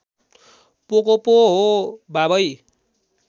पोको पो हो बाबै